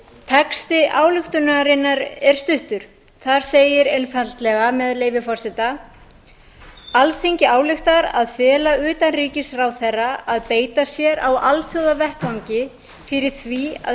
texti ályktunarinnar er stuttur þar segir einfaldlega með leyfi forseta alþingi ályktar að fela utanríkisráðherra að beita sér á alþjóðavettvangi fyrir því að